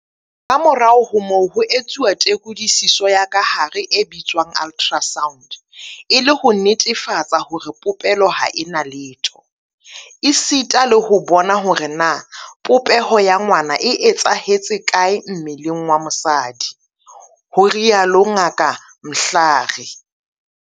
Kamorao ho moo ho etsuwa tekodisiso ya kahare e bitswang ultrasound e le ho netefatsa hore popelo ha e na letho, esita le ho bona hore na popeho ya ngwana e etsahetse kae mmeleng wa mosadi, o itsalo Ngaka Mhlari.